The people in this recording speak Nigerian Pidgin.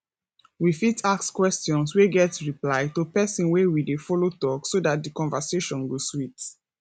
we fit ask questions wey get reply to person wey we dey follow talk so dat di conversation go sweet